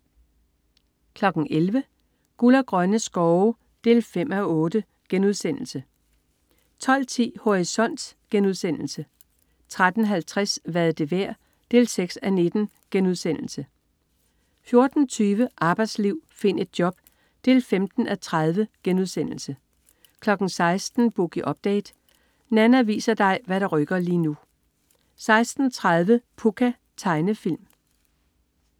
11.00 Guld og grønne skove 5:8* 12.10 Horisont* 13.50 Hvad er det værd? 6:19* 14.20 Arbejdsliv. Find et job 15:30* 16.00 Boogie Update. Nanna viser dig hvad der rykker lige nu 16.30 Pucca. Tegnefilm